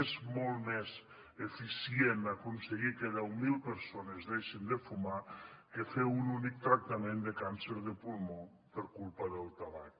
és molt més eficient aconseguir que deu mil persones deixin de fumar que fer un únic tractament de càncer de pulmó per culpa del tabac